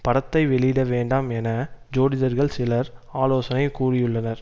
படத்தை வெளியிட வேண்டாம் என ஜோதிடர்கள் சிலர் ஆலோசனை கூறியுள்ளனர்